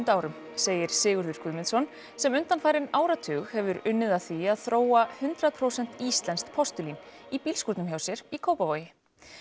árum segir Sigurður Guðmundsson sem undanfarinn áratug hefur unnið að því að þróa hundrað prósent íslenskt postulín í bílskúrnum hjá sér í Kópavogi